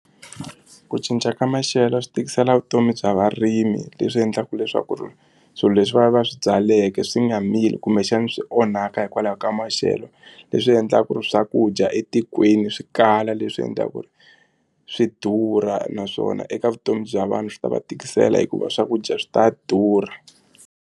Ku cinca ka maxelo swi tikisela vutomi bya varimi leswi endlaka leswaku ri swilo leswi va va va swi byaleke swi nga mili kumbexana swi onhaka hikwalaho ka maxelo leswi endlaka ku ri swakudya etikweni swi kala leswi endlaka ku ri swi durha naswona eka vutomi bya vanhu swi ta va tikisela hikuva swakudya swi ta durha.